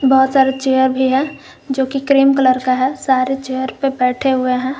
जो की cream colour का है सारे चेयर पर बैठे हुए हैं।